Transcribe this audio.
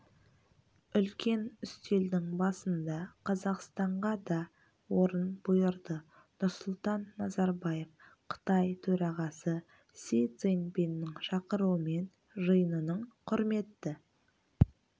үлкен үстелдің басында қазақстанға да орын бұйырды нұрсұлтан назарбаев қытай төрағасы си цзиньпиннің шақыруымен жиынының құрметті